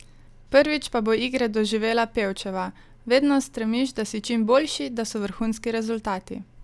Prvič pa bo igre doživela Pevčeva: "Vedno stremiš, da si čim boljši, da so vrhunski rezultati.